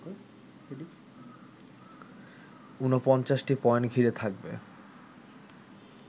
৪৯টি point ঘিরে থাকবে